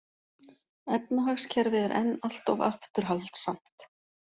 Efnahagskerfið er enn allt of afturhaldssamt